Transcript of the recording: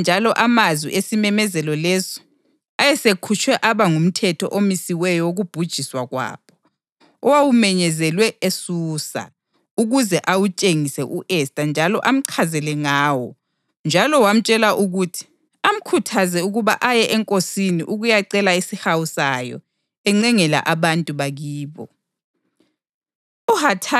Wamupha njalo amazwi esimemezelo leso ayesekhutshwe aba ngumthetho omisiweyo wokubhujiswa kwabo, owawumenyezelwe eSusa, ukuze awutshengise u-Esta njalo amchazele ngawo; njalo wamtshela ukuthi amkhuthaze ukuba aye enkosini ukuyacela isihawu sayo encengela abantu bakibo.